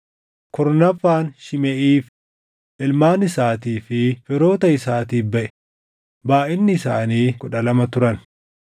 kurnaffaan Shimeʼiif, // ilmaan isaatii fi firoota isaatiif baʼe; // baayʼinni isaanii kudha lama turan